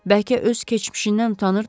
Bəlkə öz keçmişindən utanırdı?